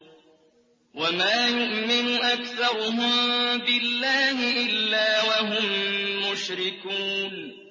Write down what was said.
وَمَا يُؤْمِنُ أَكْثَرُهُم بِاللَّهِ إِلَّا وَهُم مُّشْرِكُونَ